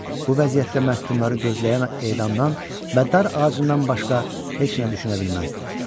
Bu vəziyyətdə məhkumları gözləyən edamdan və dar ağacından başqa heç nə düşünə bilməzdi.